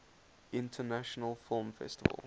international film festival